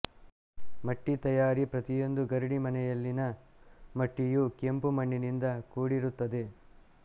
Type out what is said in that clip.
ಮಟ್ಟಿಯ ತಯಾರಿ ಪ್ರತಿಯೊಂದು ಗರಡಿ ಮನೆಯಲ್ಲಿನ ಮಟ್ಟಿಯೂ ಕೆಂಪುಮಣ್ಣಿನಿಂದ ಕೂಡಿತುತ್ತದೆ